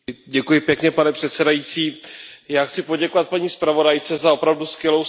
Pane předsedající, já chci poděkovat paní zpravodajce za opravdu skvělou zprávu.